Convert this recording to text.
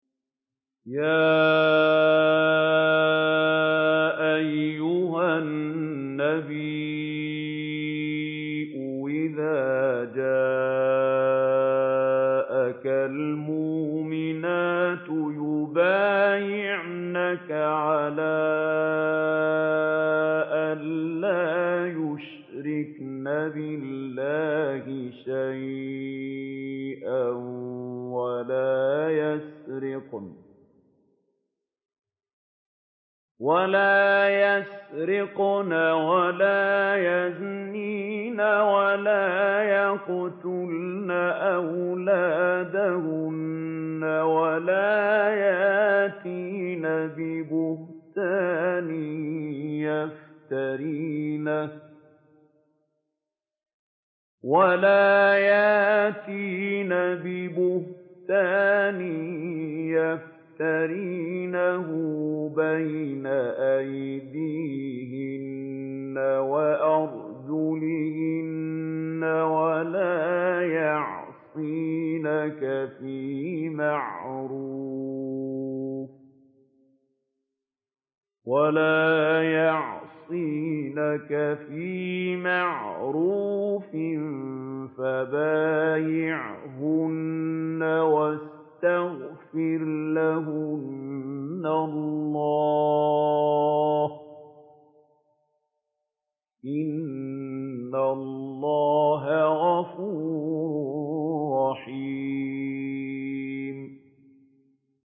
يَا أَيُّهَا النَّبِيُّ إِذَا جَاءَكَ الْمُؤْمِنَاتُ يُبَايِعْنَكَ عَلَىٰ أَن لَّا يُشْرِكْنَ بِاللَّهِ شَيْئًا وَلَا يَسْرِقْنَ وَلَا يَزْنِينَ وَلَا يَقْتُلْنَ أَوْلَادَهُنَّ وَلَا يَأْتِينَ بِبُهْتَانٍ يَفْتَرِينَهُ بَيْنَ أَيْدِيهِنَّ وَأَرْجُلِهِنَّ وَلَا يَعْصِينَكَ فِي مَعْرُوفٍ ۙ فَبَايِعْهُنَّ وَاسْتَغْفِرْ لَهُنَّ اللَّهَ ۖ إِنَّ اللَّهَ غَفُورٌ رَّحِيمٌ